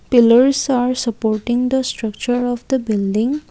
pillers are supporting the structure of the building.